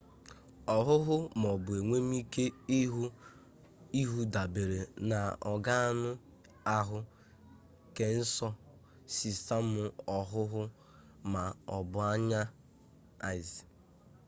ọhụhụ ma ọ bụ enwemike ịhụ dabere na ọganụ ahụ kesensọ sistemụ ọhụhụ ma ọ bụ anya eyes